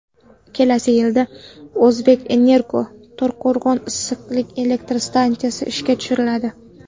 Kelasi yilda ‘O‘zbekenergo‘ To‘raqo‘rg‘on issiqlik elektr stansiyasini ishga tushiradi.